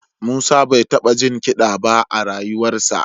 Musa bai taɓa jin kiɗa ba a rayuwarsa